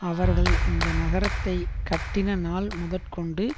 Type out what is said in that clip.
அவர்கள் இந்த நகரத்தைக்கட்டின நாள் முதற்கொண்டு